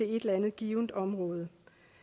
eller andet givent område